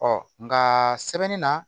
Ɔ nka sɛbɛnni na